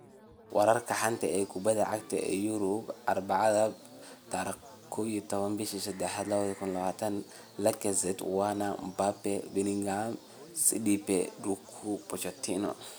Wararka xanta kubada cagta Yurub Arbacada 11.03.2020: Lacazette, Werner, Mbappe, Bellingham, Sidibe, Doku, Pochettino